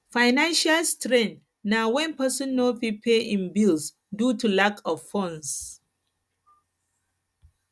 financial strain na wen person no fit pay im bills due to lack of funds